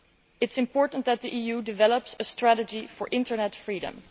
It is important that the EU develop a strategy for Internet freedom.